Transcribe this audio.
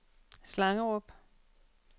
Slangerup